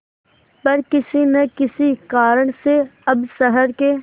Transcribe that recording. पर किसी न किसी कारण से अब शहर के